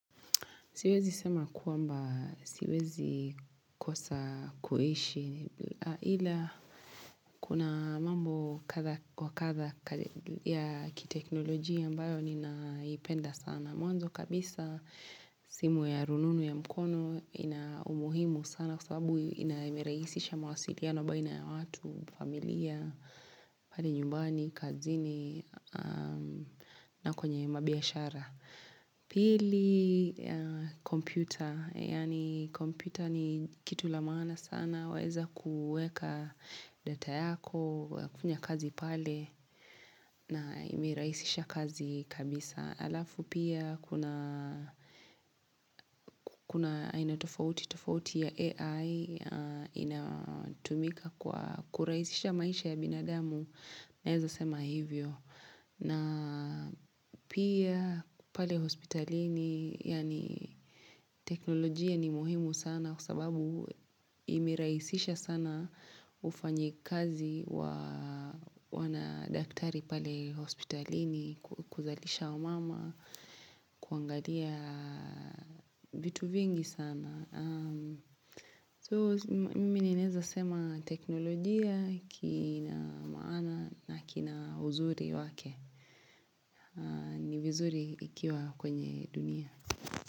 Siwezi sema kwamba siwezi kosa kuishi ila kuna mambo kadha kwa kadha ya kiteknolojia ambayo ni naipenda sana. Mwanzo kabisa simu ya rununu ya mkono ina umuhimu sana kwa sababu inavirahisisha mawasiliano baina ya watu, familia, pale nyumbani, kazini na kwenye mabiashara. Pili kompyta, yaani kompyuta ni kitu la maana sana, waeza kueka data yako, kufanya kazi pale na imerahisisha kazi kabisa Alafu pia kuna aina tofauti ya AI inatumika kwa kurahisisha maisha ya binadamu, naeza sema hivyo na pia pale hospitalini, yaani teknolojia ni muhimu sana kwa sababu imerahisisha sana ufanyikazi wana daktari pale hospitalini, kuzalisha wa mama, kuangalia vitu vingi sana. So mimi ninanleza sema teknolojia kina maana na kina uzuri wake ni vizuri ikiwa kwenye dunia.